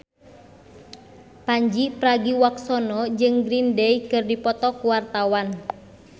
Pandji Pragiwaksono jeung Green Day keur dipoto ku wartawan